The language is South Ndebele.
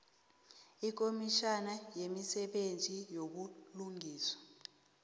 yikomitjhana yemisebenzi yobulungiswa